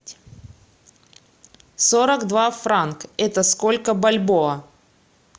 сорок два франк это сколько бальбоа